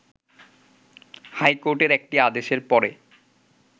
হাইকোর্টের একটি আদেশের পরে